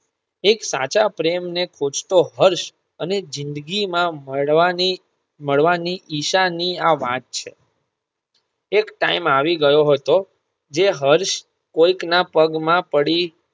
એક સાચા પ્રેમ ને ખોજતો હર્ષ અને જિંદગી માં મળવાની મળવાની ઈશાની આ વાત છે એક time આવી ગયો હતો જે હર્ષ કોઈકના પગ માં પડી.